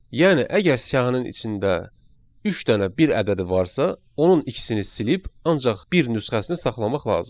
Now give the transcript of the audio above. Yəni əgər siyahının içində üç dənə bir ədədi varsa, onun ikisini silib ancaq bir nüsxəsini saxlamaq lazımdır.